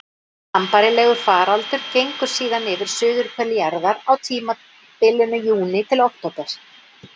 Sambærilegur faraldur gengur síðan yfir suðurhvel jarðar á tímabilinu júní til október.